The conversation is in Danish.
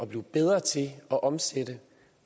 blive bedre til at omsætte